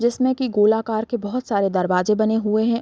जिसमे कि गोल आकार के बहोत सारे दरवाजे बने हुए है ।